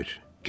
Qeyd.